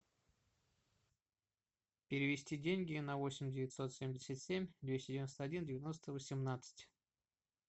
перевести деньги на восемь девятьсот семьдесят семь двести девяносто один девяносто восемнадцать